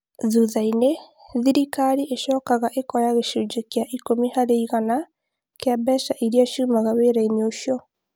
Thutha-inĩ thirikari ĩcokaga ĩkoya gĩcunjĩ gĩa ikũmi harĩ igana gĩa mbeca iria ciumaga wĩra-inĩ ũcio